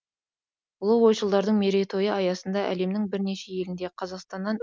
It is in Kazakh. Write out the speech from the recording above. ұлы ойшылдардың мерейтойы аясында әлемнің бірнеше елінде қазақстаннан